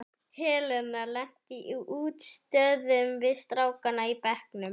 Helena lenti í útistöðum við strákana í bekknum.